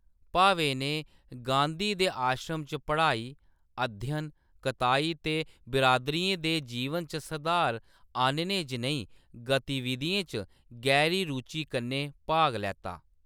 भावे ने गांधी दे आश्रम च पढ़ाई, अध्ययन, कताई ते बिरादरियें दे जीवन च सधार आह्‌‌‌नने जनेही गतिविधियें च गैह्‌री रुचि कन्नै भाग लैता।